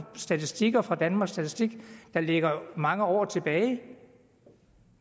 statistikker fra danmarks statistik der ligger mange år tilbage